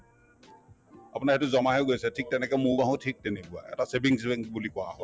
আপোনাৰ সেইটো জমা হৈ গৈছে ঠিক তেনেকে মৌ বাহো ঠিক তেনেকুৱা এটা savings bank বুলি কোৱা